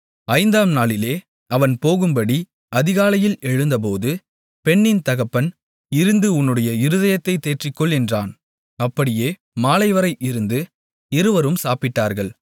ஐந்தாம் நாளிலே அவன் போகும்படி அதிகாலையில் எழுந்தபோது பெண்ணின் தகப்பன் இருந்து உன்னுடைய இருதயத்தைத் தேற்றிக்கொள் என்றான் அப்படியே மாலைவரை இருந்து இருவரும் சாப்பிட்டார்கள்